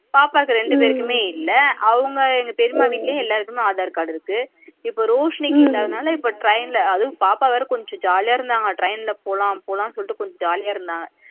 பாப்பாக்கு ரெண்டு பேருக்குமே இல்ல அவங்க எங்க பெரியம்மா வீட்ல எல்லாருக்கும் aadhar card இருக்கு இப்ப ரோஷினுக்கு இல்லாததுனால இப்ப train லா அதுவும் பாப்பா வேற கொஞ்சம் jolly யா இருந்தாங்க train ல போலாம் போலாம்னு சொல்லிட்டு கொஞ்சம் jolly யா இருந்தாங்க